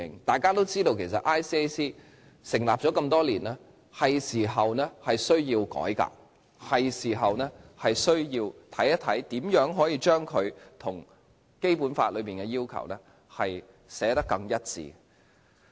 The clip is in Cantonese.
眾所周知，廉政公署成立多年，是時候需要改革，是時候需要研究如何將它與《基本法》的要求寫得更一致。